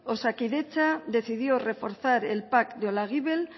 oskadietza decidió reforzar el pac de olaguibel